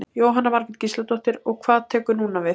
Jóhanna Margrét Gísladóttir: Og hvað tekur núna við?